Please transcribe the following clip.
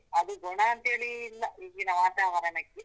ಅದು ಗುಣ ಅಂತ ಹೇಳಿ ಇಲ್ಲ ಈಗಿನ ವಾತಾವರಣಕ್ಕೆ.